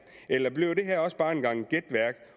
eller bliver det her også bare en gang gætværk